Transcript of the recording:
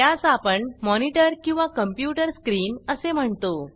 त्यास आपण मॉनिटर किंवा कॉम्प्यूटर स्क्रीन असे म्हणतो